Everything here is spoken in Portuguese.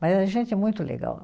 Mas era gente muito legal.